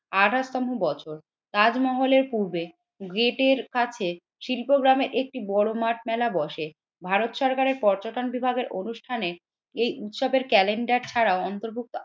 আঠাশ তম বছর তাজমহলের পূর্বে গেটের কাছে শিল্প গ্রামে একটি বোরো মাঠ মেলা বসে, ভারত সরকারের পর্যটন বিভাগের অনুষ্ঠানে এই উৎসবের ক্যালেন্ডার ছাড়াও অন্তর্ভুক্ত